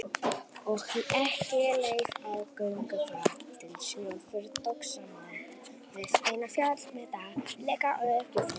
Og ekki leið á löngu þar til Snjólfur tók saman við eina, fjallmyndarlega ekkjufrú